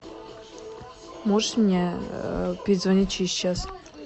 можешь мне перезвонить через час